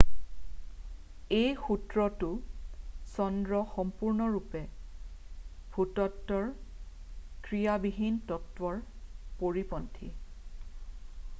এই সূত্ৰটো চন্দ্ৰ সম্পূৰ্ণৰূপে ভূতত্বৰ ক্ৰিয়াবিহীন তত্বৰ পৰিপন্থী